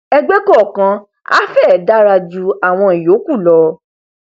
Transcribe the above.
ẹgbẹ kọọkan a fẹ dárà jú àwọn ìyókù lọ